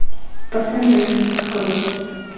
пассажир открой